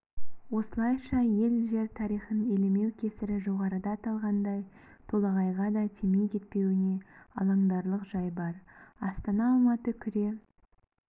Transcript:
осылайша ел-жер тарихын елемеу кесірі жоғарыда аталғандай толағайға да тимей кетпеуіне алаңдарлық жай бар астана-алматы күре